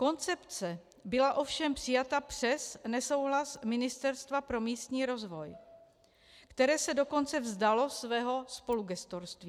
Koncepce byla ovšem přijata přes nesouhlas Ministerstva pro místní rozvoj, které se dokonce vzdalo svého spolugestorství.